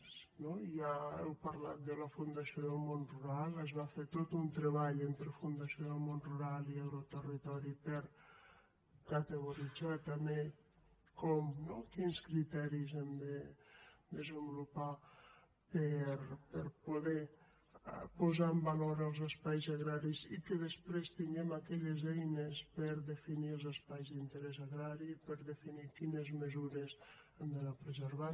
ja heu parlat de la fundació del món rural es va fer tot un treball entre fundació del món rural i agroterritori per categoritzar també com no quins criteris hem de desenvolupar per a poder posar en valor els espais agraris i que després tinguem aquelles eines per a definir els espais d’interès agrari per a definir quines mesures hem d’anar preservant